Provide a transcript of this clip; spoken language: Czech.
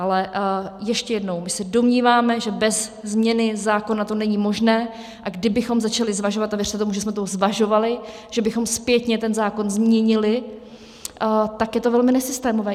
Ale ještě jednou: my se domníváme, že bez změny zákona to není možné, a kdybychom začali zvažovat, a věřte tomu, že jsme to zvažovali, že bychom zpětně ten zákon změnili, tak je to velmi nesystémové.